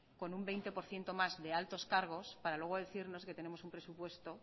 con un veinte por ciento más de altos cargos para luego decirnos que tenemos un presupuesto